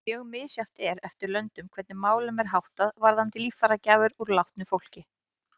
Mjög misjafnt er eftir löndum hvernig málum er háttað varðandi líffæragjafir úr látnu fólki.